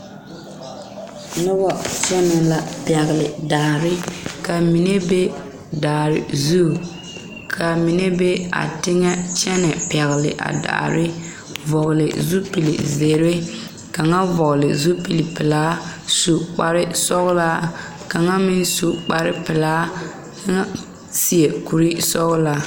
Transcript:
Noba kpɛŋ la pɛgele daare ka mine be daare zu kaa mine be a teŋa kyɛnɛ pɔnne daare a daare vɔgele zupili zeere kaŋa vɔgele zupili pelaa su kpar sɔgelaa kaŋa meŋ su kpar pelaa kaŋa seɛ kuri sɔgelaa